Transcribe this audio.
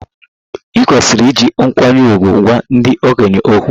E kwesịrị iji nkwanye ùgwù gwa ndị okenye okwu.